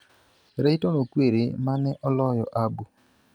Rayton Okwiri ma ne oloyo ABU.